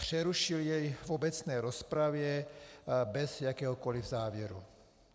Přerušil jej v obecné rozpravě bez jakéhokoli závěru.